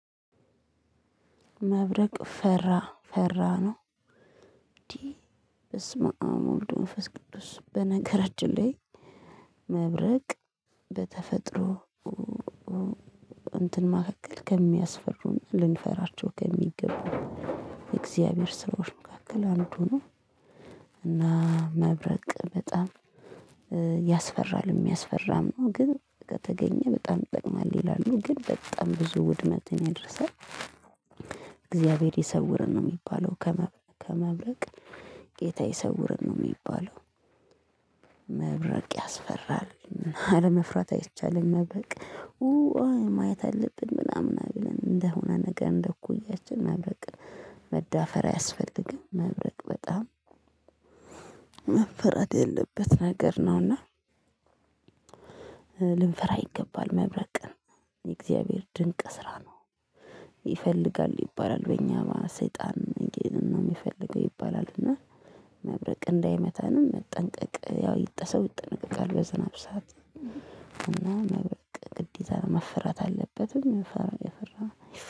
መብረቅ ፈራ ፈራ ነው። እንዴ በስመአም ወልድ መንፈስ ቅዱስ። በነገራችን ላይ መብረቅ በተፈጥሮ እንትን መካከል ከሚያስፈሩን ልንፈራቸው ከሚገቡ የእግዚአብሔር ሰዎች መካከል አንዱ ነው። እና መብረቅ በጣም ያስፈራል የሚያስፈራም ግን ከተገኘ በጣም ጥቅም አለ ይላሉ ግን በጣም ብዙ ውድመትን ያደርሳል። እግዚአብሔር ይሰውርን ነው የሚባለው ከመብረቅ ጌታ ይሰውርን ነው የሚባለው። መብረቅ ያስፈራል አለመፍራት አይቻልም። መብረቅ ማየት አለብን ምናምን አሉን እንደሆነ ነገር እንደኩያችን መብረቅ መዳፈር አያስፈልግም። መብረቅ በጣም መፈራት የለበት ነገር ነውና። ልንፈራ ይገባል መብረቅን የእግዚአብሔር ድንቅ ስራ ነው። ይፈልጋል ይባላል በእኛ ሰይጣን እንደሚፈልገው ይባላል። እና መብረቅ እንዳይመታንም መጠንቀቅ ያው ያወቀ ሰው ይጠነቀቃል በዝናብ ሰዓት። እና መብረቅ ግዴታ መፈራት አለበትም የፈራ